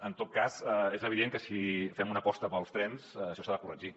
en tot cas és evident que si fem una aposta pels trens això s’ha de corregir